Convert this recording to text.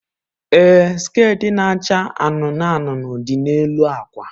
Ee, skit na-acha anụnụ anụnụ dị n'elu akwa.